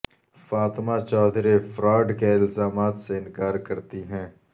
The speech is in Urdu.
فاطمہ چوہدری فراڈ کے الزامات سے انکار کرتی ہیں